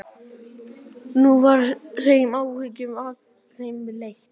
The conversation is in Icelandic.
Nú var þeim áhyggjum af þeim létt.